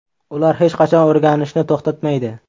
Ular hech qachon o‘rganishni to‘xtatmaydi.